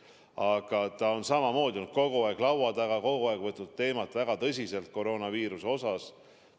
Aga Mart Helme on samamoodi olnud kogu aeg laua taga, kogu aeg võtnud koroonaviiruse teemat väga tõsiselt.